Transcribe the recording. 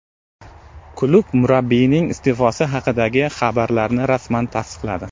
Klub murabbiyning iste’fosi haqidagi xabarlarni rasman tasdiqladi .